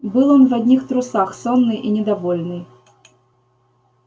был он в одних трусах сонный и недовольный